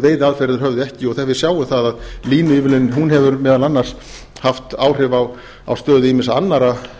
veiðiaðferðir höfðu ekki og þegar við sjáum það að línuívilnunin hefur meðal annars haft áhrif á stöðu ýmissa annarra